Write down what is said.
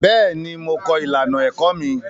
Bẹ́ẹ̀ ni, mo kọ ìlànà èkọ́ mi.